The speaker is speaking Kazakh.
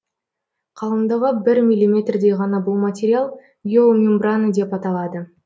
қалыңдығы бір миллиметрдей ғана бұл материал геомембрана деп аталады